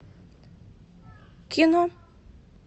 кино